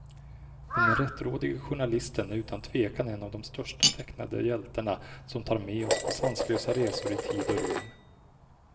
Den rättrådige journalisten är utan tvekan en av de största tecknade hjältarna, som tar med oss på sanslösa resor i tid och rum.